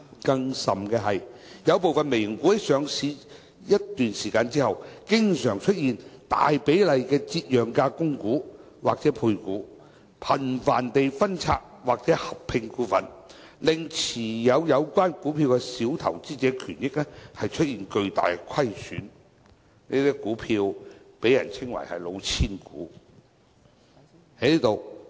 更甚的是，有部分"微型股"在上市一段時間之後，經常出現大比例的折讓價供股或配股，頻繁地分拆或合併股份，令持有有關股票的小投資者權益出現巨大虧損，這些股票被稱為"老千股"。